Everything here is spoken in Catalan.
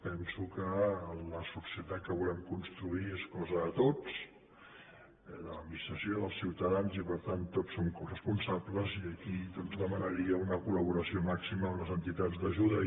penso que la societat que volem construir és cosa de tots de l’administració dels ciutadans i per tant tots en som coresponsables i aquí doncs demanaria una col·laboració màxima amb les entitats d’ajuda